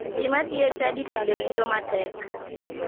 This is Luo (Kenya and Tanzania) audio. Ji madhi e chadi pile winjo matek.